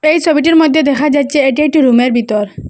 এই সবিটির মধ্যে দেখা যাচ্ছে এটি একটি রুমের বিতর।